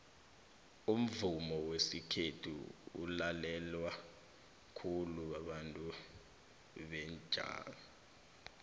umvumo wesikhethu ulalewa khulu babantu bembaji